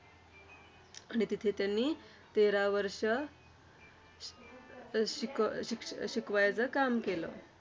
आणि तिथे त्यांनी तेरा वर्ष अं शिक शिक्ष शिकवायचं काम केलं.